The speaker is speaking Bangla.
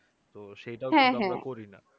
তো সেইটাও কিন্তু আমরা করি না